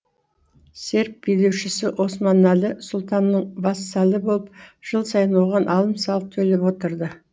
серб билеушісі османалі сұлтанының вассалы болып жыл сайын оған алым салық төлеп отырды